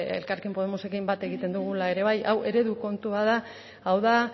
elkarrekin podemosekin bat egiten dugula era bai hau eredu kontu bat da hau da